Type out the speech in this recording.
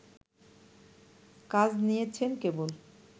কাজ নিয়েছেন কেবল